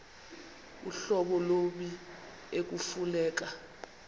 uhlobo lommi ekufuneka